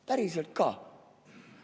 Päriselt ka.